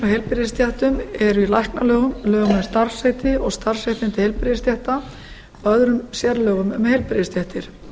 heilbrigðisstéttum eru í læknalögum í lögum um starfsheiti og starfsréttindi heilbrigðisstétta og öðrum sérlögum um heilbrigðisstéttir